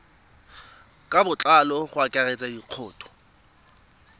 ka botlalo go akaretsa dikhoutu